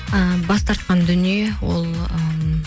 і бас тарқан дүние ол ммм